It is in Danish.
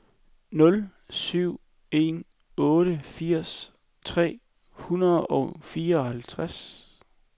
nul syv en otte firs tre hundrede og fireoghalvtreds